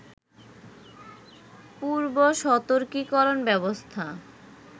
পূর্বসতর্কীকরণ ব্যবস্থা